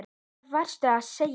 Hvað varstu að segja?